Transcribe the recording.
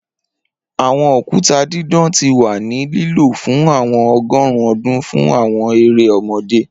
Awọn okuta didan ti wa ni lilo fun awọn ọgọrun ọdun fun awọn ere ọmọde